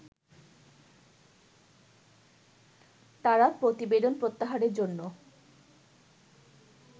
তারা প্রতিবেদন প্রত্যাহারের জন্য